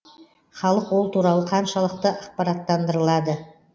халық ол туралы қаншалықты ақпараттандырылады